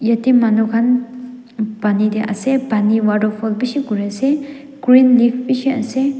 yate manu khan pani teh ase pani waterfall bishi kore ase green leaves bishi ase.